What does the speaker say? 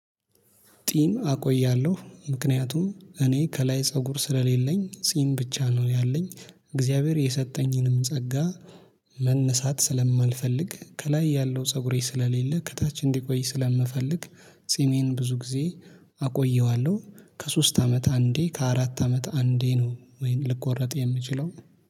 ጢም አቆያለሁ ምክንያቱም እኔ ከላይ ፀጉር ስለሌለኝ ጢም ብቻ ነው ያለኝ እግዚአብሔር የሰጠኝንም ጸጋ። መነሳት ስለማልፈልግ ከላይ ያለው ፀጉሬ ስለሌለ ከታች እንዲቆይ ስለምፈልግ። ጺሜን ብዙ ጊዜ አቆየዋለሁ ከሶስት አመት አንዴ ከአራት አመት አንዴ ነው ወይን ልቆረጥ የምችለው